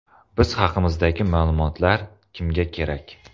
Biz haqimizdagi ma’lumotlar kimga kerak?